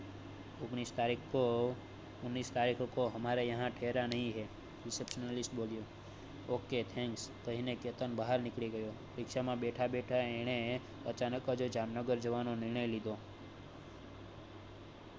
ઓગણીસ તરીક કો ुनिस तारिक को हमारे यहाँ ठहरा नहीं है receptionist બોલ્યો ok thanks કહીને કેતન બહાર નીકળી ગયો રીક્ષા માં બેઠા બેઠા એને અચાનકજ જામનગર જવાનું નિર્ણય લીધો